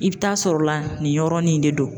I bɛ taa'a sɔrɔ la nin yɔrɔnin de don.